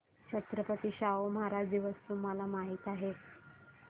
छत्रपती शाहू महाराज दिवस तुम्हाला माहित आहे